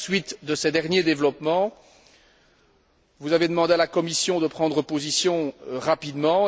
À la suite de ces derniers développements, vous avez demandé à la Commission de prendre position rapidement.